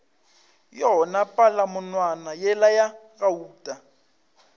yona palamonwana yela ya gauta